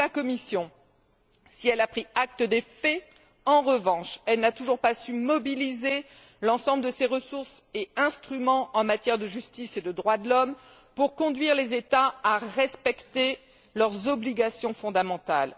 Pour la Commission, si elle a pris acte des faits, en revanche, elle n'a toujours pas su mobiliser l'ensemble de ses ressources et instruments en matière de justice et de droits de l'homme pour conduire les États à respecter leurs obligations fondamentales.